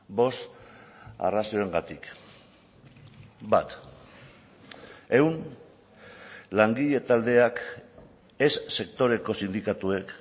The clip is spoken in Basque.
bost arrazoiengatik bat ehun langile taldeak ez sektoreko sindikatuek